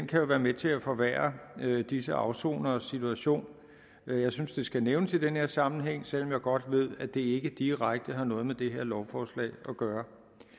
kan være med til at forværre disse afsoneres situation jeg synes det skal nævnes i den her sammenhæng selv om jeg godt ved at det ikke direkte har noget med det her lovforslag at gøre